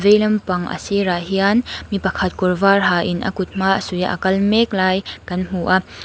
veilam pang a sirah hian mi pakhat kawr var ha in a kut hma a suih a a lak mek lai kan hmu a.